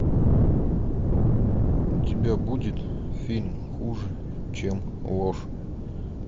у тебя будет фильм хуже чем ложь